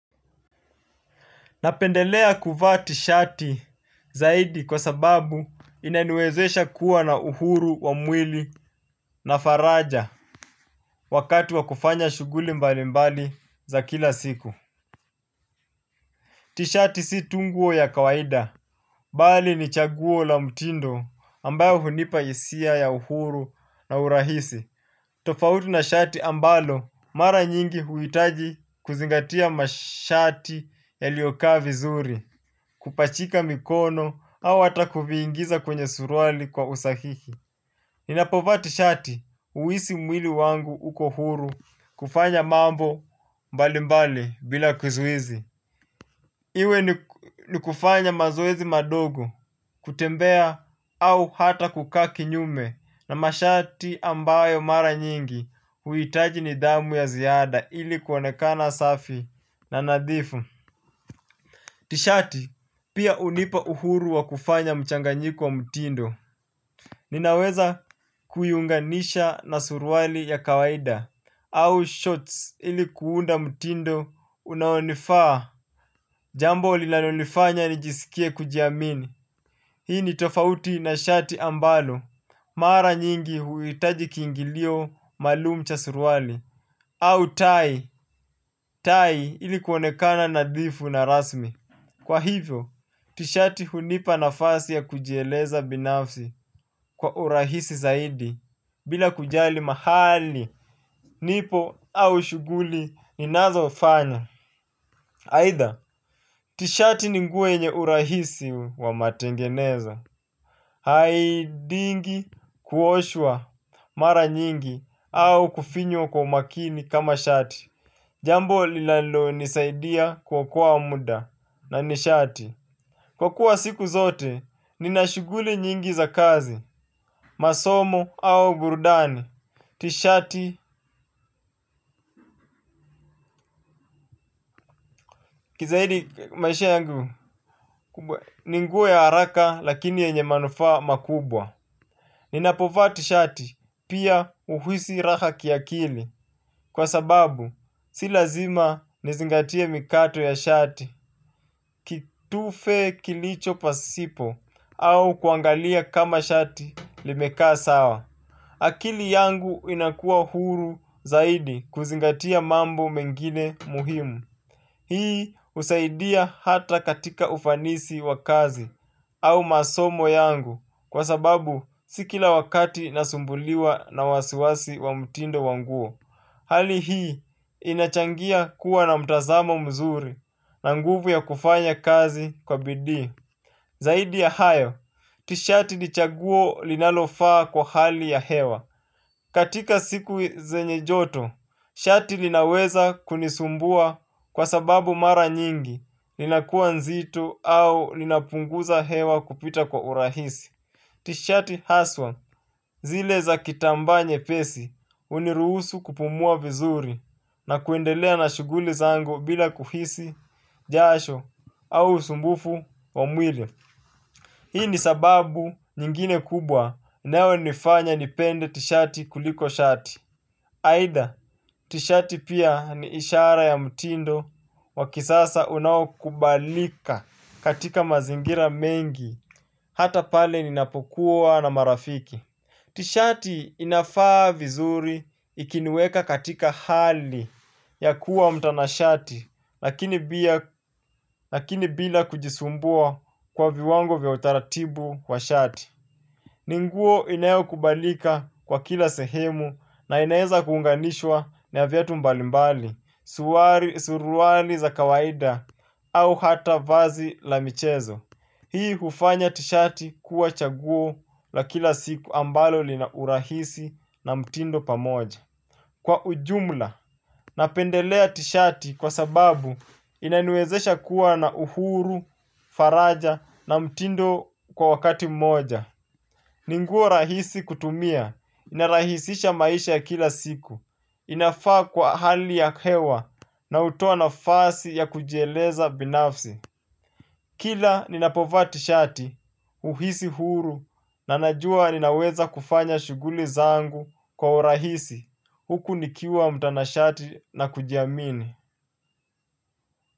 Napendelea kuvaa tishati zaidi kwa sababu inaniwezesha kuwa na uhuru wa mwili na faraja wakati wa kufanya shuguli mbali mbali za kila siku. Tishati si tu nguo ya kawaida. Bali ni chaguo la mtindo ambayo hunipa isia ya uhuru na urahisi. Tofauti na shati ambalo mara nyingi huitaji kuzingatia mashati yalio kaa vizuri kupachika mikono au ata kuviingiza kwenye surwali kwa usahihi. Ninapovati shati uisi mwili wangu uko huru kufanya mambo mbali mbali bila kuzuizi. Iwe ni kufanya mazoezi madogo kutembea au hata kukaa kinyume na mashati ambayo mara nyingi huitaji ni damu ya ziyada ili kuonekana safi na nadhifu. Tishati pia unipa uhuru wa kufanya mchanganyiko wa mutindo. Ninaweza kuiunganisha na surwali ya kawaida au shorts ili kuunda mtindo unaonifaa. Jambo lilanolifanya nijisikie kujiamini. Hii ni tofauti na shati ambalo mara nyingi huitaji kiingilio malumu cha surwali au tai, tai ili kuonekana nadhifu na rasmi. Kwa hivyo, tishati hunipa nafasi ya kujieleza binafsi kwa urahisi zaidi bila kujali mahali, nipo au shuguli ninazofanya. Aitha, tishati ni nguo yenye urahisi wa matengeneza, haidingi kuoshwa mara nyingi au kufinywa kwa umakini kama shati. Jambo lilalonisaidia kwa kwa muda na nishati. Kwa kuwa siku zote, ninashuguli nyingi za kazi, masomo au burudani. Tishati, kizahidi maisha yangu, ni nguo ya haraka lakini yenye manufa makubwa. Ninapofa tishati, pia uhisi raka kiakili. Kwa sababu, si lazima nizingatie mikato ya shati, kitufe kilicho pasipo, au kuangalia kama shati limekaa sawa. Akili yangu inakua huru zaidi kuzingatia mambo mengine muhimu. Hii usaidia hata katika ufanisi wa kazi au masomo yangu kwa sababu si kila wakati nasumbuliwa na wasiwasi wa mtindo wanguo. Hali hii inachangia kuwa na mtazamo mzuri na nguvu ya kufanya kazi kwa bidii. Zaidi ya hayo, tishati ni chaguo linalofaa kwa hali ya hewa. Katika siku zenye joto, shati linaweza kunisumbua kwa sababu mara nyingi linakuwa nzito au linapunguza hewa kupita kwa urahisi. Tishati haswa zile za kitambaa nyepesi uniruhusu kupumua vizuri na kuendelea na shuguli zangu bila kuhisi jasho au usumbufu wa mwile. Hii ni sababu nyingine kubwa inaonifanya nipende tishati kuliko shati. Aidha tishati pia ni ishara ya mtindo wakisasa unaokubalika katika mazingira mengi hata pale ninapokuwa na marafiki. Tishati inafaa vizuri ikinieka katika hali ya kuwa mtanashati lakini bila kujisumbua kwa viwango vya utaratibu wa shati. Ni nguo inayokubalika kwa kila sehemu na inaezakuunganishwa na viatu mbalimbali, suwari, suruwali za kawaida au hata vazi la michezo. Hii ufanya tishati kuwa chaguo la kila siku ambalo lina urahisi na mtindo pamoja. Kwa ujumla, napendelea tishati kwa sababu inaniwezesha kuwa na uhuru, faraja na mtindo kwa wakati mmoja. Rahisi kutumia, inarahisisha maisha ya kila siku inafaa kwa hali ya hewa na utoa nafasi ya kujieleza binafsi kila ninapovaa tishati uhisi huru na najua ninaweza kufanya shuguli zangu kwa urahisi huku nikiwa mtanashati na kujiamini.